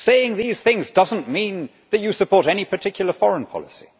Saying these things does not mean that you support any particular foreign policy